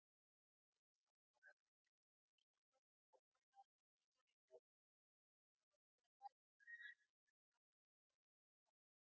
आह sir तुम्ही म्हंटले तसं तुम्ही triple door refrigerator आह परवा तुमच्या इथे सकाळी दहा वाजता order झालाय. बरोबर?